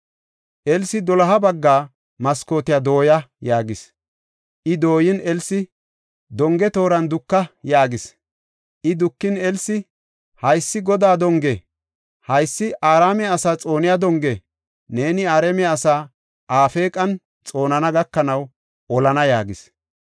Elsi, “Doloha bagga maskootiya dooya” yaagis. I dooyin, Elsi, “Donge tooran duka” yaagis. I dukin Elsi, “Haysi Godaa donge! Haysi Araame asaa xooniya donge! Neeni Araame asaa Afeeqan xoonana gakanaw olana” yaagis.